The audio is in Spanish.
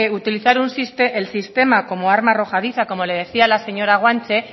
utilizar el sistema como arma arrojadiza como le decía la señora guanche